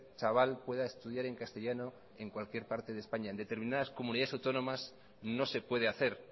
chaval pueda estudiar en castellano en cualquier parte de españa en determinadas comunidades autónomas no se puede hacer